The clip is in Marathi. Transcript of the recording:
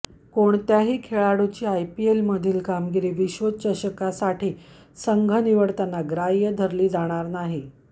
कोणत्याही खेळाडूची आयपीएलमधली कामगिरी विश्वचषकासाठी संघ निवडताना ग्राह्य धरली जाणार नाही